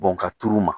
Bɔn ka turu ma